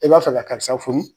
I b'a fɛ ka karisa furu